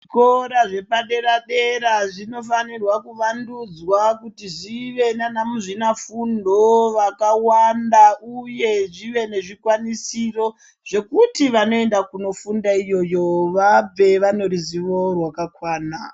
Zvikora zvepadera dera zvinofana kuvandudzwa kuti zvive nana muzvina fundo vakawanda uye zvive nezvikwanisiro zvekuti vanoenda kundofunda iyiyo vabve vane ruzuvo rwakakwana.